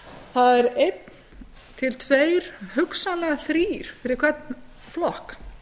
það er eitt til tveggja hugsanlega aðrir fyrir hvern flokk